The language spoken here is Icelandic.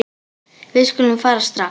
Við skulum fara strax.